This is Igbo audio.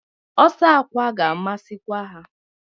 Ọsọ akwa ga-amasịkwa ha.